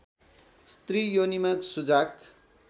स्त्री योनिमा सुजाक